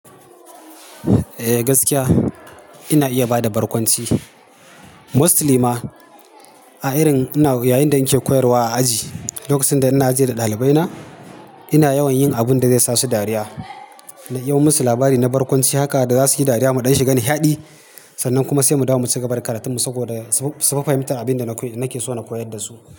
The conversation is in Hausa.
Eh gaskiya ina iya bada barkwanci mostly ma a irin ina yayin da nake koyarwa a aji. Lokacin da ina aji da ɗalibaina ina yawan yin abun da zai sa su dariya. Na iban musu labari na barkwanci haka da za su yi dariya muɗan shiga na hiɗi sannan kuma sai mu dawo mu cigaba da karatun mu saboda su fa fahimtar abin da nake so na koyar da su.